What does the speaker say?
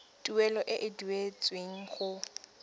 tuelo e e duetsweng go